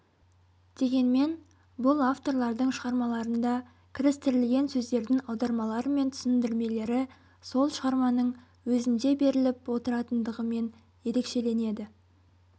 дегенмен бұл авторлардың шығармаларында кірістірілген сөздердің аудармалары мен түсіндірмелері сол шығарманың өзінде беріліп отыратындығымен ерекшеленеді